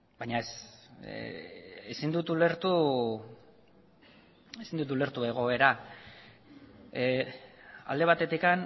baina ez ezin dut ulertu ezin dut ulertu egoera alde batetik